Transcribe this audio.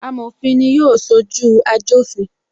Amofin ni yóò sojú ajofin